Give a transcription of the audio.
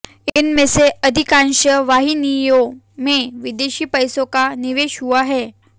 इन में से अधिकांश वाहिनियों में विदेशी पैसों का निवेश हुआ है